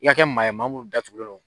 I ka kɛ maa ye maa min datugulen don